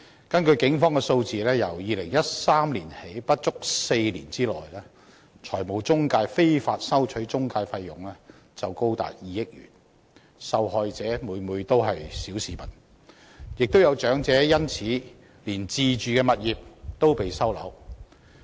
根據警方數字，由2013年起不足4年內，中介公司非法收取的中介費用就高達2億元，受害者每每都是小市民，亦有長者因此連自住物業也被收回。